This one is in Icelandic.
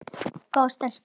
Góð stelpa.